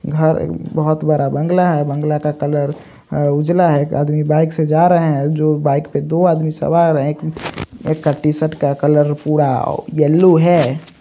घर बहुत बड़ा बंगला है बंगला का कलर अ उजला है आदमी बाइक से जा रहें हैं जो बाइक पे दो आदमी सवार हैं एक का टी-शर्ट का कलर पूरा येलो है।